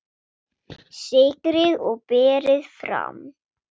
Sykrið og berið fram.